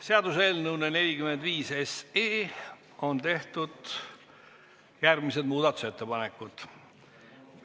Seaduseelnõu 45 kohta on tehtud järgmised muudatusettepanekud.